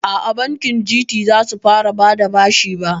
Aa, bankin Gt zasu fara bada bashi ba